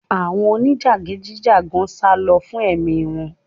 Àwọn onijagidi jagan salo fún ẹ̀mí wọ́n